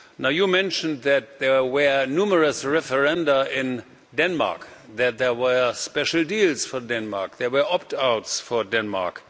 You mentioned that there were numerous referenda in Denmark, that there were special deals for Denmark, there were opt outs for Denmark.